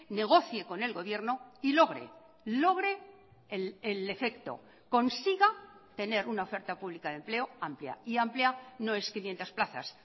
negocie con el gobierno y logre logre el efecto consiga tener una oferta pública de empleo amplia y amplia no es quinientos plazas